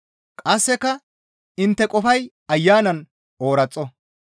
Qasseka intte qofay Ayanan ooraxo.